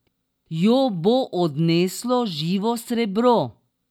Jo bo odneslo živo srebro?